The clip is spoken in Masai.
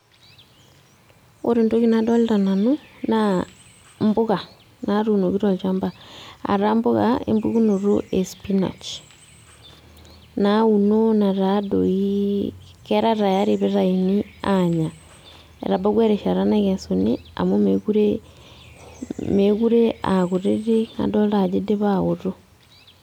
Ore entoki nadolta nanu, naa impuka, natuunoki tolchamba. Ataa mpuka empukunoto e spinach. Nauno nataa doi kera tayari pitayuni aanya. Etabawua erishata nakesuni, amu mekure, mekure akutitik adolta ajo idipa aoto.